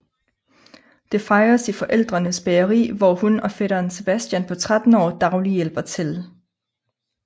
Det fejres i forældrenes bageri hvor hun og fætteren Sebastian på 13 år daglig hjælper til